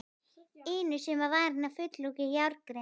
inu sem var varin með öflugri járngrind.